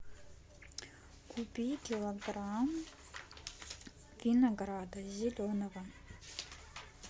купи килограмм винограда зеленого